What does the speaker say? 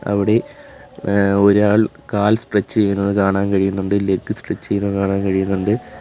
അവിടെ ഏഹ് ഒരാൾ കാൽ സ്ട്രെച്ച് ചെയ്യുന്നത് കാണാൻ കഴിയുന്നുണ്ട് ലെഗ്ഗ് സ്ട്രെച്ച് ചെയ്യുന്നത് കാണാൻ കഴിയുന്നുണ്ട്.